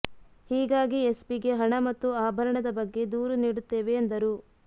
ಹೀಗಾಗಿ ಎಸ್ಪಿಗೆ ಹಣ ಮತ್ತು ಆಭರಣದ ಬಗ್ಗೆ ದೂರು ನೀಡುತ್ತೇವೆ ಎಂದರು